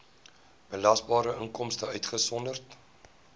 belasbare inkomste uitgesonderd